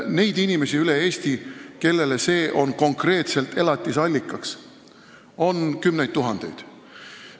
Neid inimesi, kellele see on konkreetselt elatusallikaks, on üle Eesti kümneid tuhandeid.